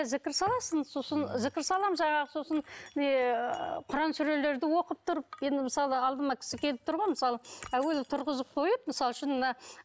зікір саласың сосын зікір саламын жаңағы сосын не құран сүрелерді оқып тұрып енді мысалы алдыма кісі келіп тұр ғой мысалы әуелі тұрғызып қойып мысалы үшін мына